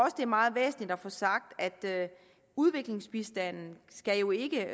at det er meget væsentligt at få sagt at udviklingsbistanden jo ikke